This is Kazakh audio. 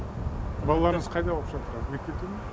балаларыңыз қайда оқып жатыр мектепте ме